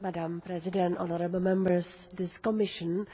Madam President, honourable Members, this Commission